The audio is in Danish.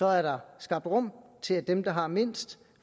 er der skabt rum til at dem der har mindst